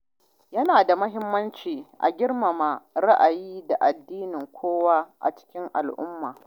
Yana da muhimmanci a girmama ra’ayi da addinin kowa a cikin al’umma.